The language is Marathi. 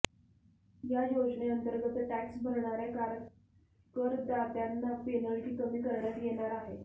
या योजनेंतर्गत टॅक्स भरणाऱ्या करदात्यांना पेनल्टी कमी करण्यात येणार आहे